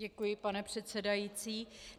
Děkuji, pane předsedající.